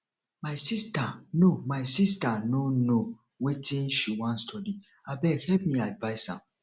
my sister no my sister no know wetin she wan study abeg help me advice am